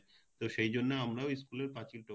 তো সেইজন্য আমরাও school পাচিল টপকে যেতাম